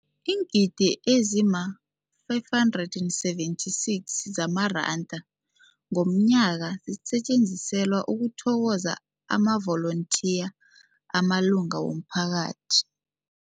Iingidi ezima-576 zamaranda ngomnyaka zisetjenziselwa ukuthokoza amavolontiya amalunga womphakathi.